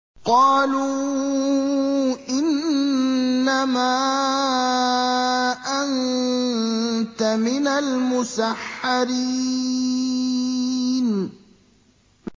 قَالُوا إِنَّمَا أَنتَ مِنَ الْمُسَحَّرِينَ